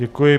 Děkuji.